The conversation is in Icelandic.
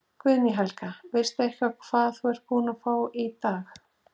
Guðný Helga: Veistu eitthvað hvað þú ert búin að fá í dag?